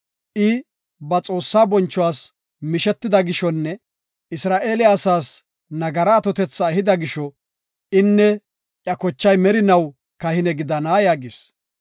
I ba Xoossaa bonchuwas mishetida gishonne Isra7eele asaas nagara atotetha ehida gisho, inne iya kochay merinaw kahine gidana” yaagis.